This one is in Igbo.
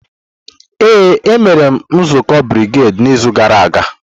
Ee, e mere nzukọ brigedi n'izu gara aga.